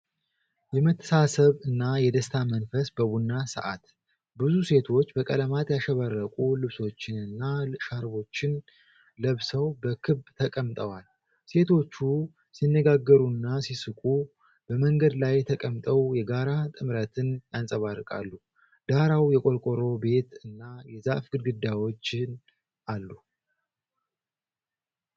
የመተሳሰብ እና የደስታ መንፈስ በቡና ሰዓት። ብዙ ሴቶች በቀለማት ያሸበረቁ ልብሶችንና ሻርቦችን ለብሰው በክብ ተቀምጠዋል። ሴቶቹ ሲነጋገሩና ሲስቁ በመንገዱ ላይ ተቀምጠው የጋራ ጥምረትን ያንጸባርቃሉ። ዳራው የቆርቆሮ ቤት እና የዛፍ ግድግዳዎችን አሉ።